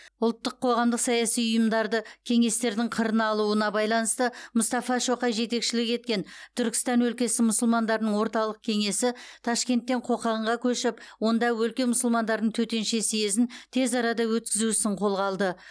ұлттық қоғамдық саяси ұйымдарды кеңестердің қырына алуына байланысты мұстафа шоқай жетекшілік еткен түркістан өлкесі мұсылмандарының орталық кеңесі ташкенттен қоқанға көшіп онда өлке мұсылмандарының төтенше съезін тез арада өткізу ісін қолға алды